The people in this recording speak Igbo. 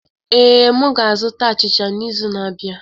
Ee, m ga-azụta achicha n'izu na-abịa.